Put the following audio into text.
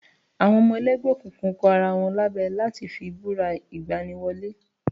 Àwọn ọmọ ẹlẹ́gbẹ́ òkùnkùn kọ ara wọn lábẹ láti fi búra ìgbani wọlé